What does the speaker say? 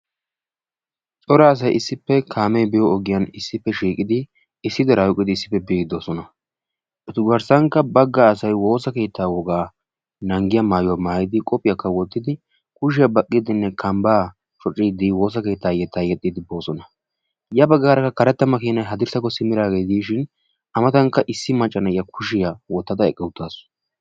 cora asay issippe kaamee biyo ogiyan eqqidi issi diraa oyqqidi bioidi de'oosona. etu garsankka bagga asay woosa keettaa wogaa naagiya yetaa yexiidi biidi de'oosona. a matankka issi macca na'iya de'awusu.